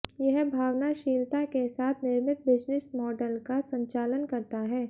यह भावनाशीलता के साथ निर्मित बिज़नेस माॅडल का संचालन करता है